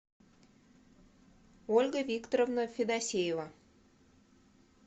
ольга викторовна федосеева